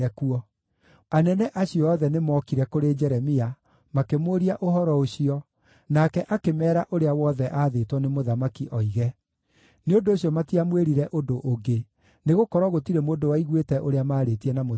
Anene acio othe nĩmookire kũrĩ Jeremia, makĩmũũria ũhoro ũcio, nake akĩmeera ũrĩa wothe aathĩtwo nĩ mũthamaki oige. Nĩ ũndũ ũcio matiamwĩrire ũndũ ũngĩ, nĩgũkorwo gũtirĩ mũndũ waiguĩte ũrĩa maarĩtie na mũthamaki.